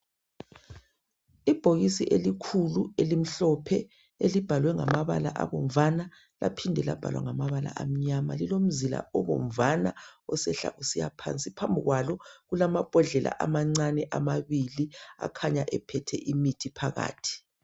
ibhokisi elikhulu elimhlophe elibhalwe ngamabala obomvana laphinde labhalwa ngamabala amnyama lilomzila obomvana osehla usiyaphansi phambi kwalo kulamabhodlela amancane amabili akhanya ephethe imithi phakathi